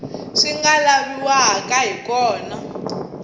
swi nga laviwaka hi kona